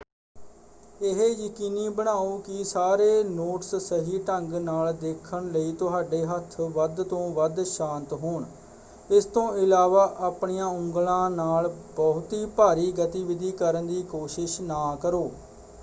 ਇਹ ਯਕੀਨੀ ਬਣਾਓ ਕਿ ਸਾਰੇ ਨੋਟਸ ਸਹੀ ਢੰਗ ਨਾਲ ਦੇਖਣ ਲਈ ਤੁਹਾਡੇ ਹੱਥ ਵੱਧ ਤੋਂ ਵੱਧ ਸ਼ਾਂਤ ਹੋਣ – ਇਸ ਤੋਂ ਇਲਾਵਾ ਆਪਣੀਆਂ ਉਂਗਲਾਂ ਨਾਲ ਬਹੁਤੀ ਭਾਰੀ ਗਤੀਵਿਧੀ ਕਰਨ ਦੀ ਕੋਸ਼ਿਸ਼ ਨਾ ਕਰੋ।